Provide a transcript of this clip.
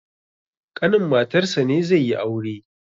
ƙanin matarsa ne zai yi aure